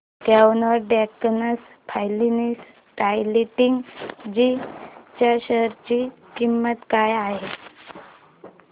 quant tax plan डायरेक्टजी च्या share ची किंमत काय आहे